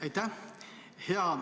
Aitäh!